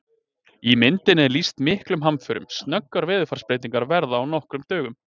Í myndinni er lýst miklum hamförum, snöggar veðurfarsbreytingar verða á nokkrum dögum!